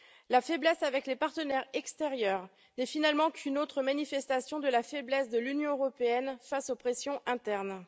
La faiblesse avec les partenaires extérieurs n'est finalement qu'une autre manifestation de la faiblesse de l'Union européenne face aux pressions internes.